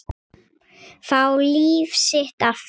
Fá líf sitt aftur.